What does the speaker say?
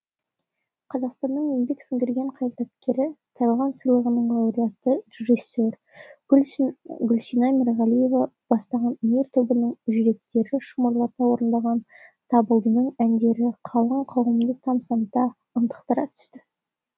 қазақстанның еңбек сіңірген қайраткері тарлан сыйлығының лауреаты режиссер гүлсина мерғалиева бастаған өнер тобының жүректі шымырлата орындаған табылдының әндері қалың қауымды тамсанта ынтықтыра түсті